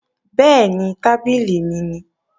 Bẹ́ẹ̀ni, tábìlì mi nìí